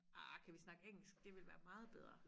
Arh kan vi snakke engelsk det ville være meget bedre